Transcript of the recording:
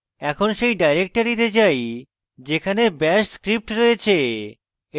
এখন সেই ডাইরেক্টরীতে যাই যেখানে bash script রয়েছে